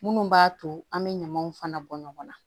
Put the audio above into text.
Minnu b'a to an bɛ ɲamaw fana bɔ ɲɔgɔn na